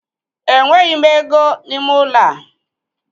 Enweghị m ego n'ime ụlọ a.